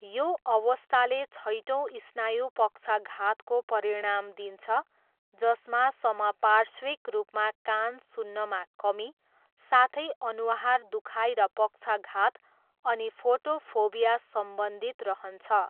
यो अवस्थाले छैटौँ स्नायु पक्षाघातको परिणाम दिन्छ जसमा समपार्श्विक रूपमा कान सुन्नमा कमी, साथै अनुहार दुखाइ र पक्षाघात, अनि फोटोफोबिया सम्बन्धित रहन्छ।